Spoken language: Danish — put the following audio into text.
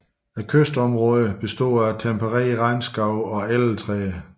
Kystområderne består af tempererede regnskove og elletræer